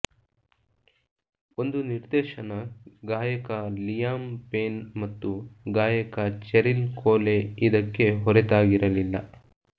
ಒಂದು ನಿರ್ದೇಶನ ಗಾಯಕ ಲಿಯಾಮ್ ಪೇನ್ ಮತ್ತು ಗಾಯಕ ಚೆರಿಲ್ ಕೋಲೆ ಇದಕ್ಕೆ ಹೊರತಾಗಿರಲಿಲ್ಲ